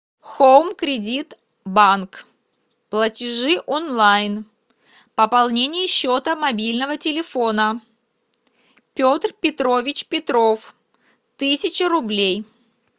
хоум кредит банк платежи онлайн пополнение счета мобильного телефона петр петрович петров тысяча рублей